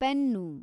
pen